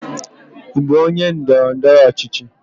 Ị bụ onye ndọrọ ndọrọ ọchịchị?